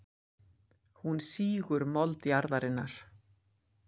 Hún sýgur mold jarðarinnar.